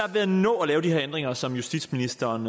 ved at nå at lave de her ændringer som justitsministeren